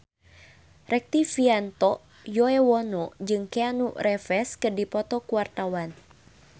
Rektivianto Yoewono jeung Keanu Reeves keur dipoto ku wartawan